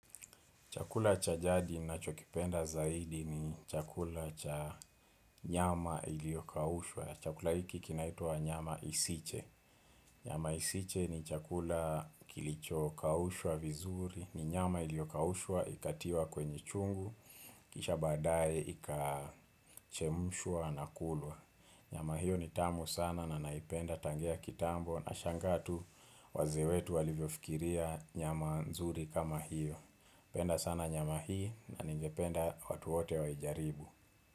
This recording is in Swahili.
Chakula cha jadi ninachokipenda zaidi ni chakula cha nyama iliyokaushwa. Chakula hiki kinaitwa nyama isiche. Nyama isiche ni chakula kilicho kawushwa vizuri. Ni nyama iliyokaushwa ikatiwa kwenye chungu. Kisha baadaye ikachemshwa na kulwa. Nyama hiyo ni tamu sana na naipenda tangia kitambo. Nashangaa tu wazee wetu walivyofikiria nyama nzuri kama hiyo. Penda sana nyama hii na ningependa watu wote waijaribu.